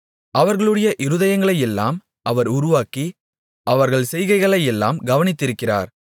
அவர்களுடைய இருதயங்களையெல்லாம் அவர் உருவாக்கி அவர்கள் செய்கைகளையெல்லாம் கவனித்திருக்கிறார்